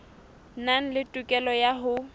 nang le tokelo ya ho